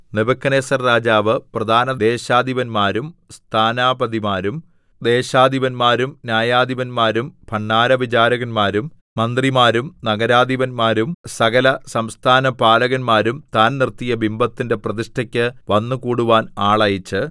Nebuchadnezzar രാജാവ് പ്രധാന ദേശാധിപന്മാരും സ്ഥാനാപതിമാരും ദേശാധിപന്മാരും ന്യായാധിപന്മാരും ഭണ്ഡാരവിചാരകന്മാരും മന്ത്രിമാരും നഗരാധിപന്മാരും സകലസംസ്ഥാനപാലകന്മാരും താൻ നിർത്തിയ ബിംബത്തിന്റെ പ്രതിഷ്ഠയ്ക്ക് വന്നുകൂടുവാൻ ആളയച്ച്